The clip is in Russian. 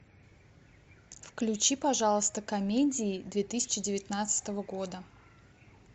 включи пожалуйста комедии две тысячи девятнадцатого года